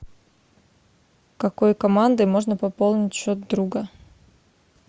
какой командой можно пополнить счет друга